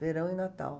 Verão e Natal.